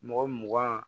Mɔgɔ mugan